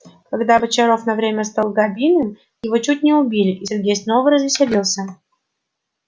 когда бочаров на время стал габиным его чуть не убили и сергей снова развеселился